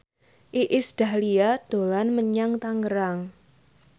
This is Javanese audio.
Iis Dahlia dolan menyang Tangerang